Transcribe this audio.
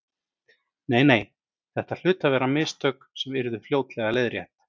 Nei, nei, þetta hlutu að vera mistök sem yrðu fljótlega leiðrétt.